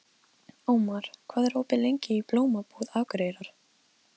Ómar, hvað er opið lengi í Blómabúð Akureyrar?